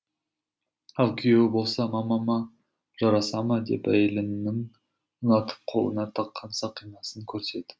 ал күйеуі болса мамама жараса ма деп әйеліннің ұнатып қолына таққан сақинасын көрсетіп